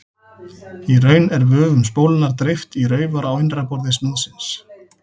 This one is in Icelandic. Í raun er vöfum spólunnar dreift í raufar á innra yfirborði snúðsins.